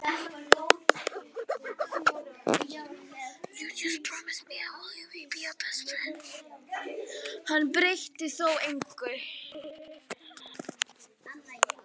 Hann breytti þó engu.